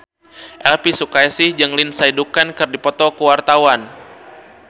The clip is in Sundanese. Elvi Sukaesih jeung Lindsay Ducan keur dipoto ku wartawan